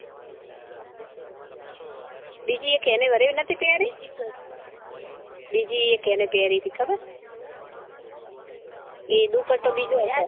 બીજે એને એક ઘરે નતી પેરી બિજી એને એક પેરી તી ખબર હે એ દુપટો બીજો હતો